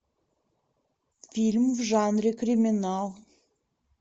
фильм в жанре криминал